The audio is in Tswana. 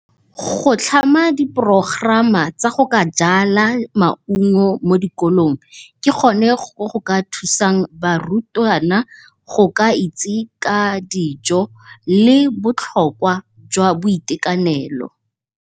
Go tlhama di progerama tsa go ka jala maungo mo dikolong, ke gone go goka thusang barutwana go ka itse ka dijo le botlhokwa jwa boitekanelo.